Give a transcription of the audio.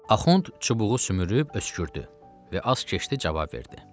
Axund çubuğu sümürüb öskürdü və az keçdi cavab verdi.